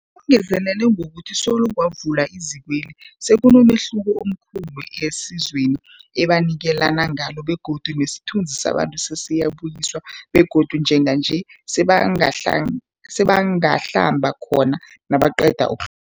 Ungezelele ngokuthi solo kwavulwa izikweli, sekunomehluko omkhulu esizweni ebanikelana ngalo begodu nesithunzi sabantu sesibuyisiwe begodu njenganje sebangahlam sebangahlamba khona nabaqeda uk